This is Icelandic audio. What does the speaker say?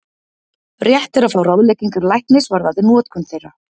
Rétt er að fá ráðleggingar læknis varðandi notkun þeirra.